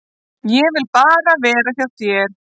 Ég vil bara vera hjá þér.